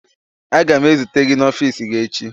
Aga m ezute gị n'ọfiisi gị echi.